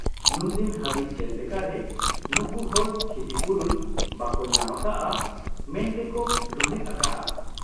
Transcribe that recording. ᱱᱩᱱᱫᱤᱱ ᱦᱟᱹᱵᱤᱡ ᱪᱮᱫ ᱞᱮᱠᱟᱨᱮ ᱱᱩᱠᱩᱦᱚᱲ ᱠᱷᱤᱛᱤᱯᱩᱨᱚᱱ ᱵᱟᱠᱚ ᱧᱟᱢ ᱟᱠᱟᱜ ᱟ ᱢᱮᱱᱛᱮᱠᱚ ᱨᱩᱦᱮᱫ ᱟᱠᱟᱜ ᱟ ᱾